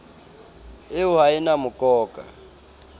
eo ha e na mokoka